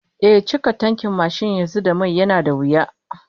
Ehh, cika tankin mashin da mai a yanzu yana da wuya